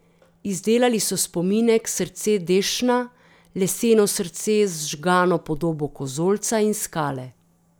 Izdelali so spominek Srce Dešna, leseno srce z žgano podobo kozolca in skale.